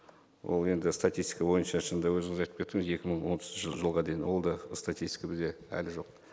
ол енді статистика бойынша шынында өзіңіз айтып кеттіңіз екі мың отызыншы жылға дейін ол да статистика бізде әлі жоқ